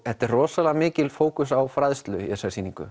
þetta er rosalega mikill fókus á fræðslu í þessari sýningu